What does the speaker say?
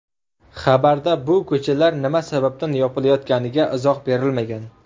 Xabarda bu ko‘chalar nima sababdan yopilayotganiga izoh berilmagan.